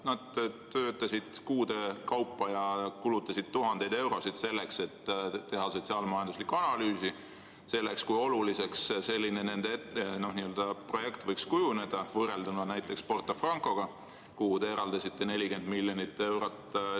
Nad töötasid kuude kaupa ja kulutasid tuhandeid eurosid selleks, et teha sotsiaal-majanduslikku analüüsi ja näidata, kui oluliseks nende projekt võiks kujuneda, võrrelduna näiteks Porto Franco omaga, mille jaoks te eraldasite 40 miljonit eurot.